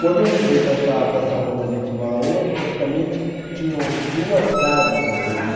Quando eu mudei para essa, para essa rua onde a gente mora hoje, praticamente tinham duas casas na rua. Hum.